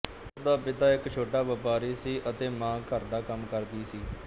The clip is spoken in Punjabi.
ਉਸਦਾ ਪਿਤਾ ਇੱਕ ਛੋਟਾ ਵਪਾਰੀ ਸੀ ਅਤੇ ਮਾਂ ਘਰ ਦਾ ਕੰਮ ਕਰਦੀ ਸੀ